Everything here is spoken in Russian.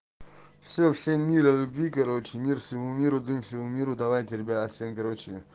все всем мира и любви короче мир всему миру дым всему миру давайте ребята всем короче